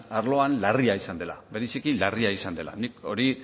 arloan larria izan dela bereziki larria izan dela nik hori